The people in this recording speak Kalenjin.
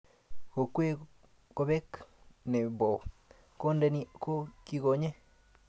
Kokwee kobek ne bo Kondeni ko kikonye